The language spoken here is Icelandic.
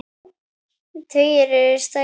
Tugir eru særðir.